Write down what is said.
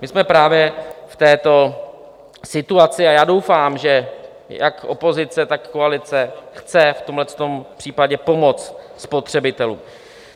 My jsme právě v této situaci a já doufám, že jak opozice, tak koalice chce v tomhle případě pomoci spotřebitelům.